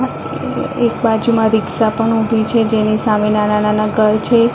એક બાજુમાં રીક્સા પણ ઉભી છે જેની સામે નાના નાના ઘર છે.